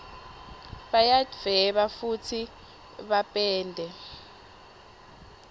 bayadvueba fusi bapende